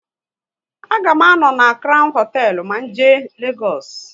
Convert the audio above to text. A ga m à nọ na Crown hoteelu na jee Legoosu